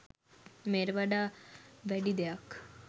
මෙයට වඩා වැඩි දෙයක්